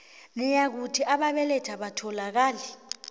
nayikuthi ababelethi abatholakali